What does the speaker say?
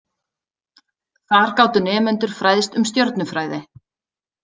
Þar gátu nemendur fræðst um stjörnufræði.